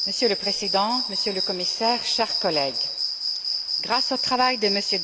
Monsieur le Président, Monsieur le Commissaire, chers collègues, grâce au travail de M.